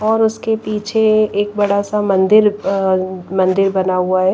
और उसके पीछे एक बड़ा सा मंदिर अ अ मंदिर बना हुआ है।